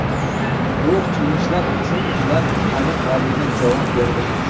Bu qilmishlar uchun ular qonun oldida javob berdilar.